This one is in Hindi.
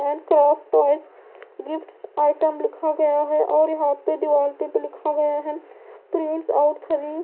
और अ अ अ छाप लिक्स गया है और यहां पे दिवाल पे भी लिखा गया है।